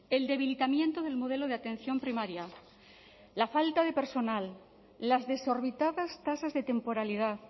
el debilitamiento del modelo de atención primaria la falta de personal las desorbitadas tasas de temporalidad